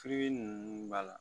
ninnu b'a la